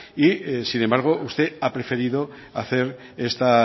sin embargo usted ha preferido esta